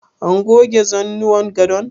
An goge zanuwan gadon?